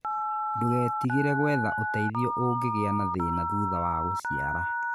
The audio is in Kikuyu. Ndũgetigĩre gwetha ũteithio ũngĩgĩa na thĩna thutha wa gũciara.